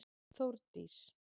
Þórdís